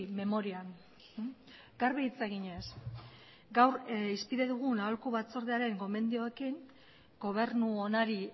memorian garbi hitz eginez gaur hizpide dugun aholku batzordearen gomendioekin gobernu onari